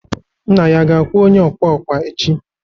nna ya ga-akwụ onye ọkwa ọkwa echi?